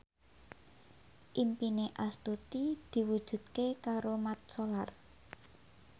impine Astuti diwujudke karo Mat Solar